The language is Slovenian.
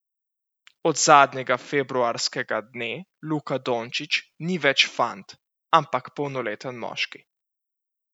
Od zadnjega februarskega dne Luka Dončić ni več fant, ampak polnoleten moški.